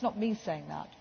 That is not me saying